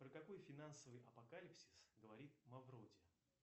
про какой финансовый апокалипсис говорит мавроди